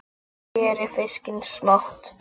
Skerið fiskinn smátt.